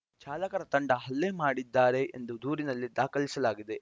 ಚಾಲಕರ ತಂಡ ಹಲ್ಲೆ ಮಾಡಿದ್ದಾರೆ ಎಂದು ದೂರಿನಲ್ಲಿ ದಾಖಲಿಸಲಾಗಿದೆ